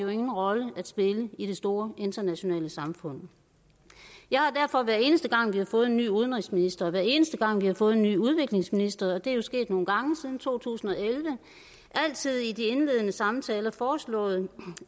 vi ingen rolle at spille i det store internationale samfund jeg har derfor hver eneste gang vi har fået en ny udenrigsminister og hver eneste gang vi har fået en ny udviklingsminister og det er jo sket nogle gange siden to tusind og elleve altid i de indledende samtaler foreslået